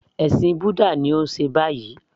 Ẹ̀sìn búdà ni ó ń ṣe báyìí